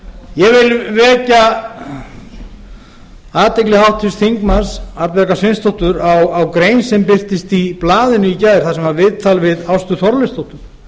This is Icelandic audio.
ég vil vekja athygli háttvirtra þingmanna arnbjargar sveinsdóttur á grein sem birtist í blaðinu í gær þar sem var viðtal við ástu þorleifsdóttur